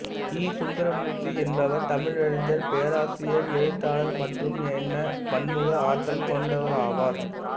இ சுந்தரமூர்த்தி என்பவர் தமிழறிஞர் பேராசிரியர் எழுத்தாளர் மற்றும் எனப் பன்முக ஆற்றல் கொண்டவராவார்